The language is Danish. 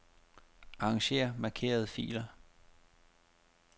Arranger markerede filer.